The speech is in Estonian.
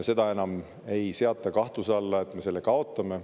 Seda enam ei seata kahtluse alla, et me selle kaotame.